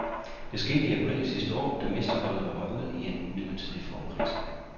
Det skete i april sidste år, da mesterholdet var røget ind i en midlertidig formkrise.